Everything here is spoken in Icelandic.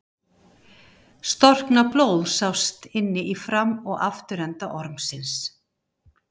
Storknað blóð sást inni í fram- og afturenda ormsins.